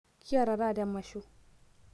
kiata taata emasho